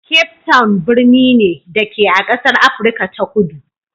Cape Town birni ne, da ke a ƙasar Afirka ta Kudu.